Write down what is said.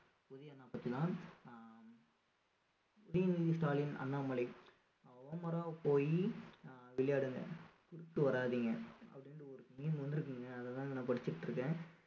உதய் அண்ணா பத்திதான் அஹ் உதயநிதி ஸ்டாலின் அண்ணாமலை போயி அஹ் விளையாடுங்க குறுக்க வராதீங்க அப்படின்னு ஒரு meme வந்திருக்கீங்க அதைத்தாங்க நான் படிச்சிட்டு இருக்கேன்